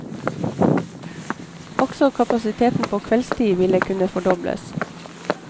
Også kapasiteten på kveldstid ville kunne fordobles.